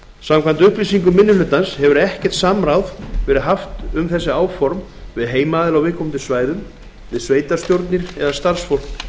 samkvæmt upplýsingum minni hlutans hefur ekkert samráð verið haft um þessi áform við heimaaðila á viðkomandi svæðum við sveitarstjórnir eða starfsfólk